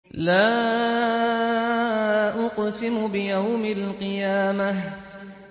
لَا أُقْسِمُ بِيَوْمِ الْقِيَامَةِ